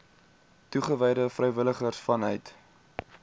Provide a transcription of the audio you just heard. toegewyde vrywilligers vanuit